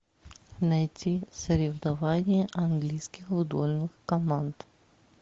найти соревнования английских футбольных команд